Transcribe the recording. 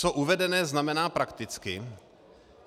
Co uvedené znamená prakticky.